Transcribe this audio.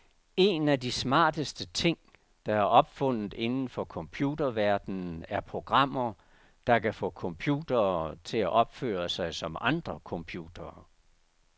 En af de smarteste ting, der er opfundet inden for computerverdenen er programmer, der kan få computere til at opføre sig som andre computere.